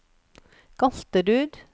Galterud